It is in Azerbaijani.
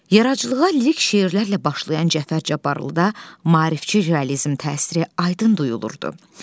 Yaradıcılığa lirik şeirlərlə başlayan Cəfər Cabbarlıda maarifçi realizm təsiri aydın duyulurdu.